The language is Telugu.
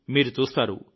మీరు చూస్తారు